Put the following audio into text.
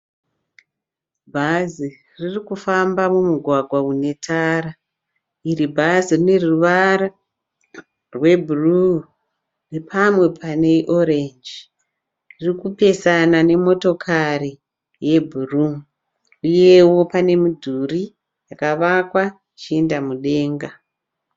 Bhazi riri kufamba mumugwagwa une tara. Iri bhazi rine ruvara rwebhuruu napamwe pane orenji. Riri kupesana nemotokari yebhuruu uyewo pane midhuri yakavakwa ichienda mudenga.